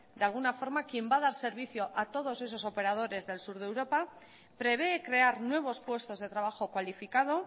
de alguna forma quien va a dar servicio a todos esos operadores del sur de europa prevé crear nuevos puestos de trabajo cualificado